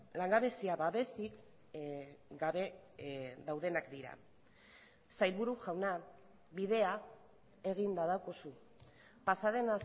langabezia babesik gabe daudenak dira sailburu jauna bidea eginda daukazu pasaden